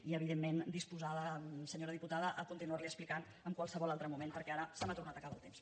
i evidentment disposada senyora diputada a continuar li ho explicant en qualsevol altre moment perquè ara se m’ha tornat a acabar el temps